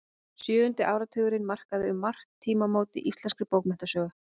Sjöundi áratugurinn markaði um margt tímamót í íslenskri bókmenntasögu.